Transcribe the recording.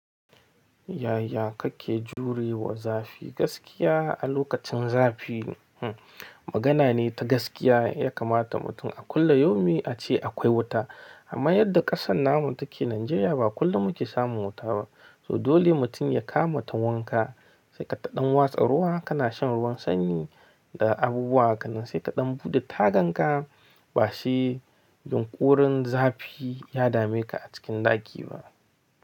Yaya kake jurewa zafi gaskiya a lokacin zafi. Hmm magana ne ta gaskiya ya kamata mutum a kullun yomi a ce akwai wuta. Amma yadda kasan namu take najeriya ba kullun muke samun wuta ba. To dole mutum ya kama ta wanka sai ka taɗan watsa ruwa kana shan ruwan sanyi da abubuwa hakanan sai ka dan bude tagan ka ba sai yunƙurin zafi ya dameka a cikin ɗaki ba.